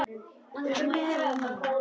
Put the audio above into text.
Úr meiru að velja!